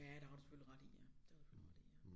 Ja det har du selvfølgelig ret i ja det har du ret i ja